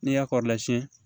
N'i y'a kɔrɔla siɲɛ